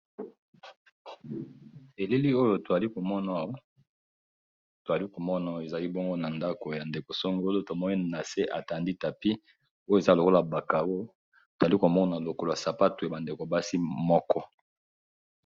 Elili oyo tozali komono ezali bongo na ndako ya ndeko songo oyo tomoninna se atandi tapi, peyo eza lokola bakaro totozali komona lokolo ya sapato ebandeko basi moko.